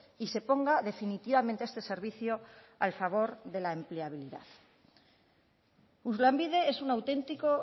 y se ponga definitivamente este servicio al favor de la empleabilidad lanbide es una auténtico